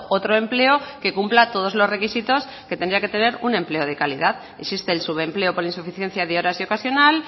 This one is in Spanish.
otro empleo que cumpla todos los requisitos que tendría que tener un empleo de calidad existe el subempleo por insuficiencia de horas y ocasional